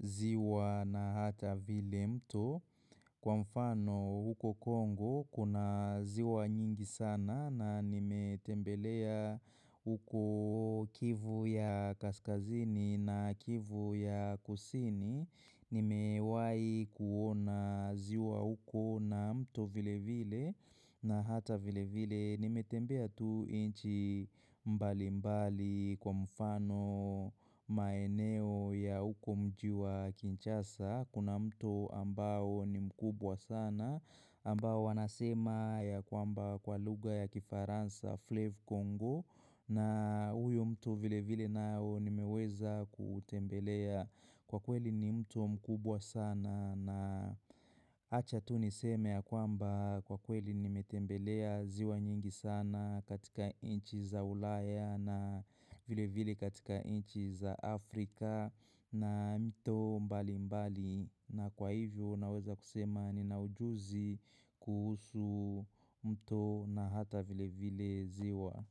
ziwa na hata vile mto. Kwa mfano, huko Kongo, kuna ziwa nyingi sana na nimetembelea huko kivu ya Kaskazini na kivu ya Kusini. Nimewai kuona ziwa uko na mto vile vile na hata vile vile nimetembea tu inchi mbali mbali kwa mfano maeneo ya uko mji wa kinchasa kuna mto ambao ni mkubwa sana ambao wanasema ya kwamba kwa lugha ya kifaransa Flave Congo na huyo mto vile vile nao nimeweza kuutembelea kwa kweli ni mtu mkubwa sana na acha tu niseme ya kwamba kwa kweli nimetembelea ziwa nyingi sana katika inchi za ulaya na vile vile katika inchi za Afrika na mto mbali mbali na kwa hivyo naweza kusema nina ujuzi kuhusu mtu na hata vile vile ziwa.